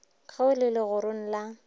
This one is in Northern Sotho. ge o le legorong la